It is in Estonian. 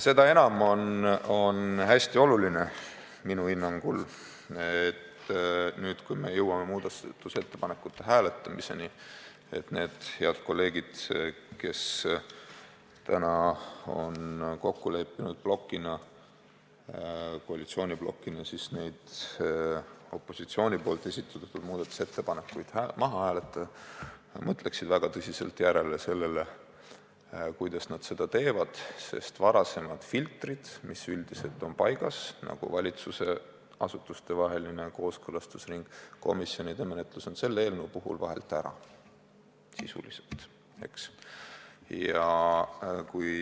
Seda enam on minu hinnangul hästi oluline, et nüüd, kui jõuame muudatusettepanekute hääletamise juurde, mõtleksid need head kolleegid, kes täna on koalitsiooniblokina kokku leppinud opositsiooni esitatud muudatusettepanekud maha hääletada, väga tõsiselt järele, kuidas nad hääletavad, sest varasemad filtrid, mis üldiselt on paigas – nagu valitsusasutustevaheline kooskõlastusring ja komisjonide menetlus –, on selle eelnõu puhul sisuliselt vahelt ära jäänud.